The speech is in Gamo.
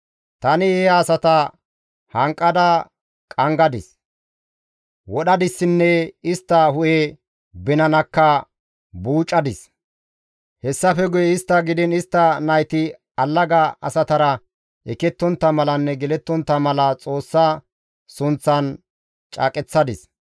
Tani he asata hanqada qanggadis; wadhdhadissinne istta hu7e binanakka buucadis; hessafe guye istta gidiin istta nayti allaga asatara ekettontta malanne gelettontta mala Xoossa sunththan caaqeththadis.